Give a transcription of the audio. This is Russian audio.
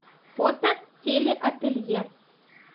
фото телеателье